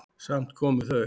Samt komu þau.